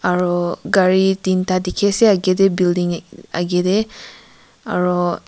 aro gari tinta dekhe ase agae dae building ek agae dae aro.